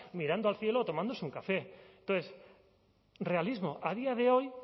mirando al cielo o tomándose un café entonces realismo a día de hoy